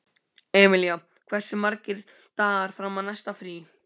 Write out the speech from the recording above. Emilía, hversu margir dagar fram að næsta fríi?